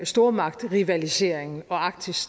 stormagtrivaliseringen og arktis